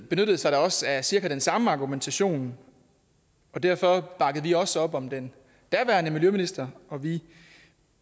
benyttede sig da også af cirka den samme argumentation og derfor bakkede vi også op om den daværende miljøminister og vi